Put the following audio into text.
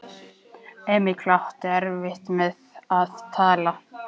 Emil átti erfitt með að tala.